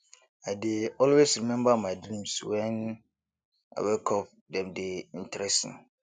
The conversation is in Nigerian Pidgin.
i dey always remember my dreams when i wake up dem dey interesting